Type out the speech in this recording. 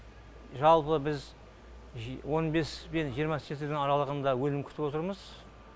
жалпы біз он бес пен жиырма центнер аралығында өнім күтіп отырмыз